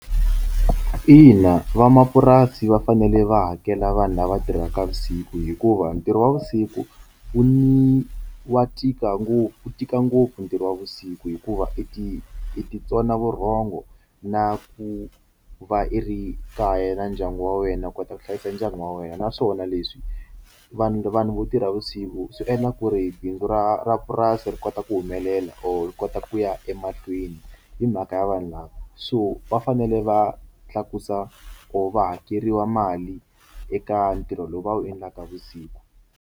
Ina van'wamapurasi va fanele va hakela vanhu lava tirhaka vusiku hikuva ntirho wa vusiku wu ni wa tika ngopfu tika ngopfu ntirho wa vusiku hikuva i ti i ti tsona vurhongo na ku ku va i ri kaya na ndyangu wa wena u kota ku hlayisa ndyangu wa wena naswona leswi vanhu vanhu vo tirha vusiku swi endla ku ri bindzu ra ra purasi ri kota ku humelela or ku kota ku ya emahlweni hi mhaka ya vanhu lava so va fanele va tlakusa or va hakeriwa mali eka ntirho lowu va wu endlaka navusiku.